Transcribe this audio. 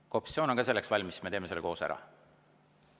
Kui ka opositsioon on selleks valmis, siis me teeme selle koos ära.